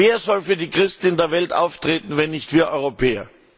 Denn wer soll für die Christen in der Welt auftreten, wenn nicht wir Europäer?